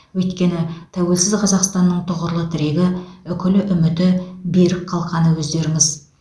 өйткені тәуелсіз қазақстанның тұғырлы тірегі үкілі үміті берік қалқаны өздеріңіз